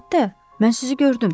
Əlbəttə, mən sizi gördüm.